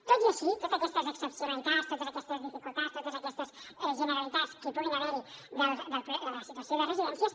tot i així totes aquestes excepcionalitats totes aquestes dificultats totes aquestes generalitats que hi puguin haver de la situació de les residències